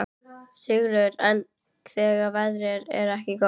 Sigríður: En þegar veðrið er ekki gott?